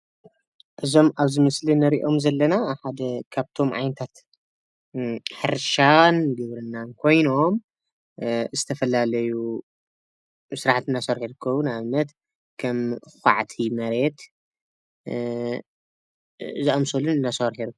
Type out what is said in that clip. እዞም ኣብዚ ምስሊ እንሪኦም ዘለና ሓደ ካብቶም ዓይነታት ሕርሻን ግብርናን ኮይኖም ዝተፈላለዩ ስራሕቲ እናሰርሑ ይርከቡ። ንኣብነት ከም ኳዕቲ መሬት ዝኣመሰሉን እናሰርሑ እዮም።